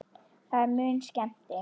Það er mun skemmti